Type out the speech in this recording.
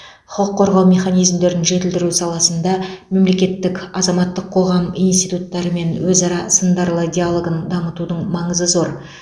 құқық қорғау механизмдерін жетілдіру саласында мемлекеттің азаматтық қоғам институттарымен өзара сындарды диалогын дамытудың маңызы зор